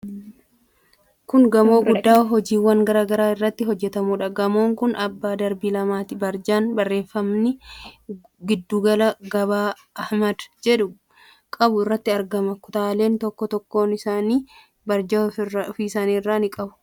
Kun gamoo guddaa hojiiwwan garaa garaa irratti hojjetamuudha. Gamoon kun abbaa darbii lamaati. Barjaan barreeffamni "Giddugala Gabaa Ahmad" jedhu qabu irratti argama. Kutaaleen tokkoon tokkoon isaanii barjaa ofii isaanii ni qabu.